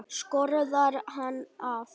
Skorðar hann af.